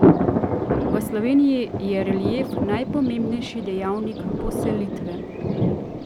V Sloveniji je relief najpomembnejši dejavnik poselitve.